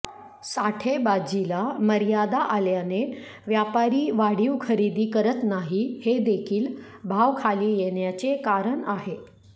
साठेबाजीला मर्यादा आल्याने व्यापारी वाढीव खरेदी करत नाही हेदेखील भाव खाली येण्याचे कारण आहे